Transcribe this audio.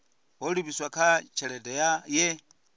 ho livhiswa kha tshelede ye